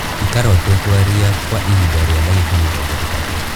ikara ũtekwaria kwa ihinda rĩa ndagĩka mĩrongo ĩtatũ